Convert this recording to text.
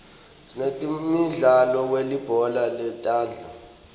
sinemidlalo welibhola letandla